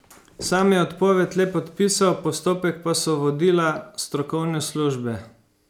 Sam je odpoved le podpisal, postopek pa so vodila strokovne službe.